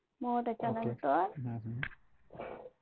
okay hmm हम्म